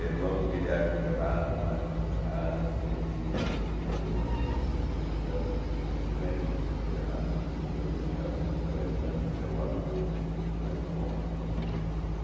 É irmão do Guilherme Ferraz, do Marcos Ferraz, gente que morou lá em Bauru, porque eles eram filhos do Zé Henrique Ferraz, que por sua vez casou-se com a irmã do meu avô, Franco do Amaral.